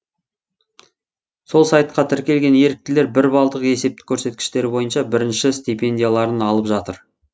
сол сайтқа тіркелген еріктілер бір балдық есептік көрсеткіштері бойынша бірінші стипендияларын алып жатыр